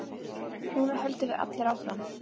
Núna höldum við allir áfram.